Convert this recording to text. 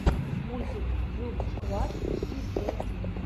мультик джугсквад пи пи джей ти